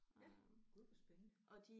Ja gud hvor spændende